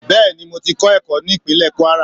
bẹẹni mo tì kọ ẹkọ ni ipinle kwara.